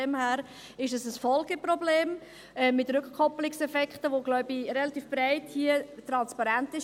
Daher ist es ein Folgeproblem mit Rückkoppelungseffekten, wobei hier relativ breit transparent ist: